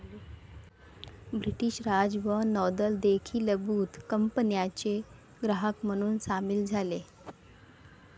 British Raj व नौदल देखीलबुत कंपन्याचे ग्राहक म्हणून सामील झाले